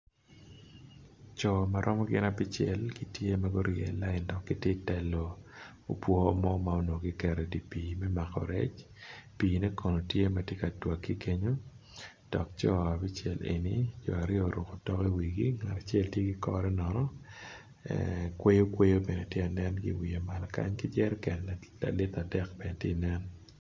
Co maromo gin abicel gitye giryeo lain dok gitye telo opwo mo manongo gigero i dipi me mako rec, pine kono tye matye ka twake kenyo dok jo abicel eni jo aryo oruko tok i wigi ngat acel tye ki kore nono kwoyokwoyo bene tye nen i wiye malo kany ki jeriken lalitre adek bene tye nen.